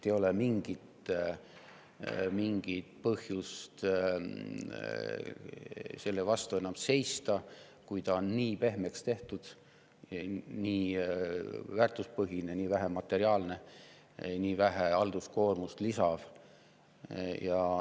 Ei ole mingit põhjust sellele enam vastu seista, kui ta on nii pehmeks tehtud, on nii väärtuspõhine, nii vähe materiaalne ja nii vähe halduskoormust lisav.